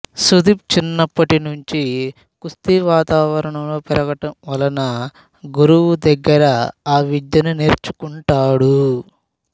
సుదీప్ చిన్నప్పటి నుంచి కుస్తీ వాతావరణంలో పెరగడం వలన గురువు దగ్గర ఆ విద్యను నేర్చుకుంటాడు